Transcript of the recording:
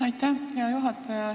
Aitäh, hea juhataja!